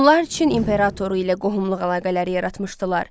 Hunlar Çin imperatoru ilə qohumluq əlaqələri yaratmışdılar.